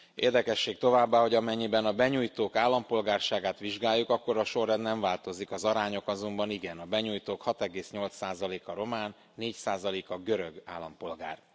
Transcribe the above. Érdekesség továbbá, hogy amennyiben a benyújtók állampolgárságát vizsgáljuk, akkor a sorrend nem változik, az arányok azonban igen a benyújtók 6,8 a román, 4 a görög állampolgár.